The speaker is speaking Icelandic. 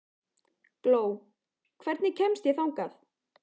Gló, hvernig kemst ég þangað?